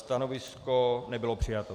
Stanovisko nebylo přijato.